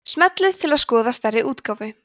smellið til að skoða stærri útgáfu